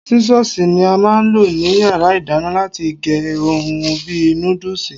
Sísọ́sìì ni a máa ń lò ní yàrá ìdáná láti gé ohun bí i núdùsì.